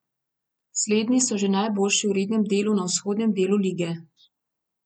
Slednji so že najboljši v rednem deli na vzhodnem delu lige.